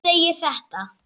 segir þetta